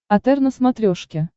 отр на смотрешке